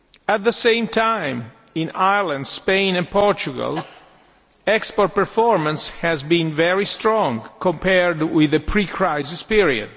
At the same time, in Ireland, Spain and Portugal, export performance has been very strong compared with the pre crisis period.